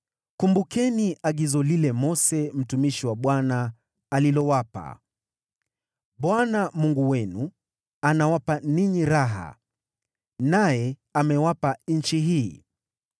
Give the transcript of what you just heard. “Kumbukeni agizo lile Mose mtumishi wa Bwana alilowapa: ‘ Bwana Mungu wenu anawapa ninyi raha, naye amewapa nchi hii.’